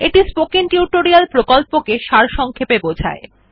এটি spoken tutorial প্রকল্পকে সারসংক্ষেপে বোঝায়